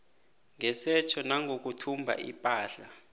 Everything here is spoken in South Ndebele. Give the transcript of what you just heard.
ngesetjho nangokuthumba ipahla